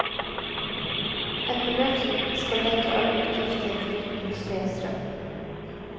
Et beløp som skal dekke alle utgifter foruten husleie og strøm.